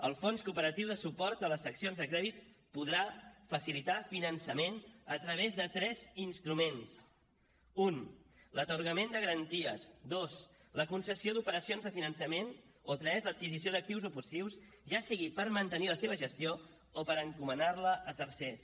el fons cooperatiu de suport a les seccions de crèdit podrà facilitar finançament a través de tres instruments un l’atorgament de garanties dos la concessió d’operacions de finançament o tres l’adquisició d’actius o passius ja sigui per mantenir la seva gestió o per encomanar la a tercers